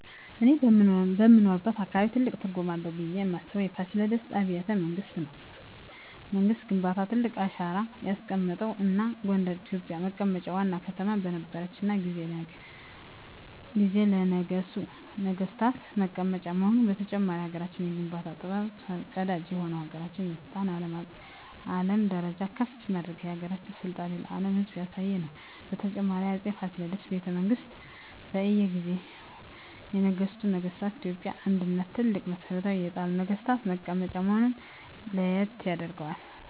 እኔ በምኖርበት አካባቢ ትልቅ ትርጉም አለው ብየ ማስበው የፋሲለደስ አቢያተ መንግስት ነው ምክንያቱም ለሀገረችን የኢትዮጵያ የሀገረ መንግስት ግንባታ ትልቅ አሻራ ያስቀመጠ እና ጎንደር የኢትዮጵ መቀመጫ ዋና ከተማ በነረችት ጊዜ ለነገሡ ነጠገስታት መቀመጫ መሆኑ በተጨማሪም ለሀገራችን የግንባታ ጥበብ ፈር ቀዳጅ የሆነ የሀገራችን ስልጣኔ በአለም ደረጃ ከፍ በማድረግ የሀገራችን ስልጣኔ ለአም ህዝብ ያሳየ ነው። በተጨማሪም በ አፄ ፋሲል ቤተመንግስት በእየ ጊዜው የነገሱ ነገስታ ለኢትዮጵያ አንድነት ትልቅ መሠረት የጣሉ ነግስታት መቀመጫ መሆነ ለየት ያደርገዋል።